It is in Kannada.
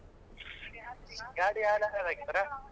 ಗಾಡಿಗ್ ಯಾರ್ oil ಹಾಕ್ತಾರೆ?